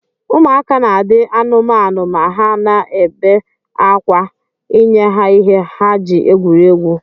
Ụmụaka na adi amụamu ma ha na bee akwa inyeha ihe ha ji egwuri egwu.